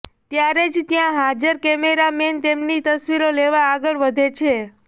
ત્યારે જ ત્યાં હાજર કેમેરામેન તેમની તસવીર લેવા આગળ વધે છે